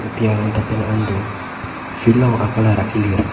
thengpi arongta penang an do field along a color akelir.